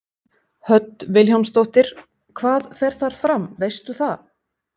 Hödd Vilhjálmsdóttir: Hvað fer þar fram, veistu það?